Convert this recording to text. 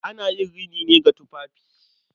Ana yin rini ne ga tufafi.